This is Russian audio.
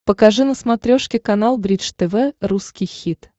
покажи на смотрешке канал бридж тв русский хит